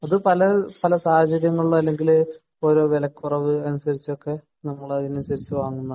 അത് പല പല സാഹചര്യങ്ങളിൽ അല്ലെങ്കിൽ ഓരോ വിലക്കുറവ് അനുസരിച്ചൊക്കെ നമ്മൾ അതിനനുസരിച്ചു വാങ്ങുന്നതാണ്